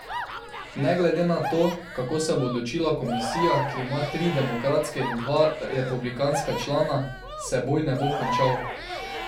Ne glede na to, kako se bo odločila komisija, ki ima tri demokratske in dva republikanska člana, se boj ne bo končal.